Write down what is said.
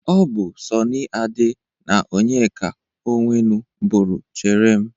Ọ bụ Sọni Ade na Onyeka Onwenu bụrụ 'chere m'.